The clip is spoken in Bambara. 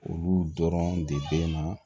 Olu dɔrɔn de bɛ na